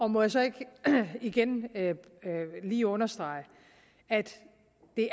må jeg så ikke igen lige understrege at det